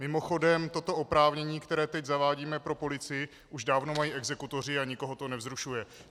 Mimochodem, toto oprávnění, které teď zavádíme pro policii, už dávno mají exekutoři a nikoho to nevzrušuje.